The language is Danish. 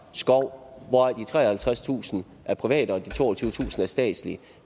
skov hvoraf de treoghalvtredstusind er private og de toogtyvetusind er statslige